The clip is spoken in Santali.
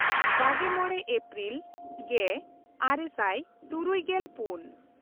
ᱵᱟᱜᱮᱼᱢᱚᱬ ᱮᱯᱨᱤᱞ ᱜᱮᱼᱟᱨᱮ ᱥᱟᱭ ᱛᱩᱨᱩᱭᱜᱮᱞ ᱯᱩᱱ